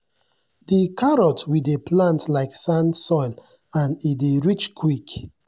the carrot we dey plant like sand soil and e dey ready quick.